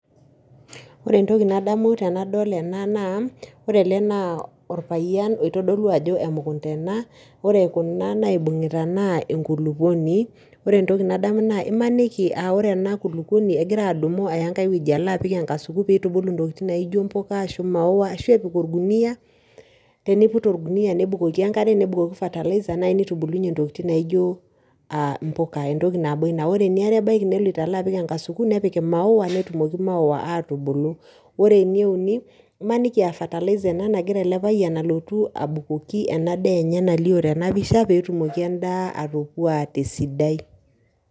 Oore entoki nadamu tenadol eena naa oore eele naa orpayian oitodolu aajo emunkunda eena, oore kuuna naibung'ita naa enkulupuoni, oore entoki nadamu naa imaniki aah oore eena kulupuonui naa kegira adumu aaya enkae wueji aalo apik enkasuku peyie eitubulu intokitin naijo imaua arashu impuka, arashu epik orkuniyia, tenepik orguniyia nebukoki enkare, nebukoki fertilizer neitubulunyie intokitin naijo impuka entoki nabo iina. Oore eniare abaiki neloito aalo apik enkasuku, nepik imaua netumoki imaua atubulu. Oore eneuni, imaniki aah fertilizer eena nagira eele payian alotu abukoki enadaa eenye nalio teena pisha peyie etumoki eena daa eenye atopuaa tesidai.